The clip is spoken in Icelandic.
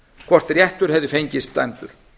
hvort réttur hefði fengist dæmdur